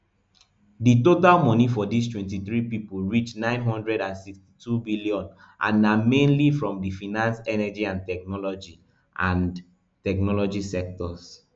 di total money for dis twenty-three pipo reach nine hundred and sixty-two billion and na mainly from di finance energy and technology and technology sectors